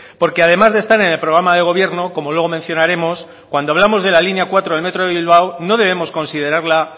porque además de estar en el programa de gobierno como luego mencionaremos cuando hablamos de la línea cuatro del metro de bilbao no debemos considerarla